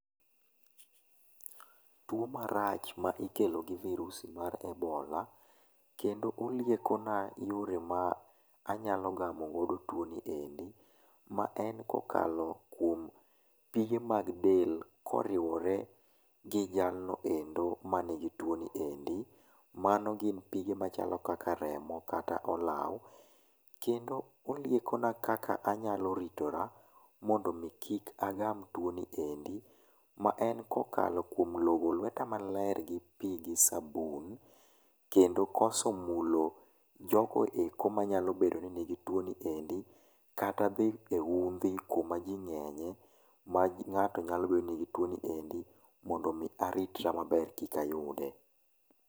Twomarach ma ikelo gi virusi mar ebola kendo oliekona yore ma anyalo gamo godo twoni endi ma en kokalo kuom pige mag del ka oriwore kod jalno endo manigi twoni endi , mago gin pige machalo kaka remo kata olow kendo oliekona kaka nyalo ritora mondo mi kik agam twoni endi ma en kokalo kwom logo lweta maler ka okalo kuom logo lweta maler gi pi gi sabun kendo koso mulo jogo eko manyalo bedo nigi woni endi kata thi e uthi kuma ji nge'nye ma ngato nyalo bed ni nigi twoni endi mondo omi aritra maber kikayude.